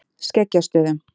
Skeggjastöðum